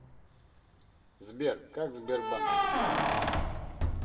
сбер как сбербанк поживает